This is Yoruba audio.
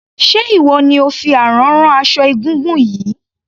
Ṣé ìwọ ni ò fi àrán rán aṣọ egúngún yìí?